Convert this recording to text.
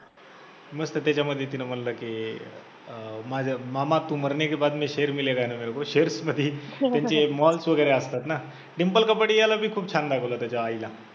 मस्त त्याच्यामध्ये तिने म्हंटलं की अं माझ्या मामा तु मरने के बाद मे शेर मिलेगा ना मेरेको shares नाही कारण ते malls वैगरे असतात ना, डिंपल कपाडियाला बी खूप छान दाखवलं त्याच्या आईला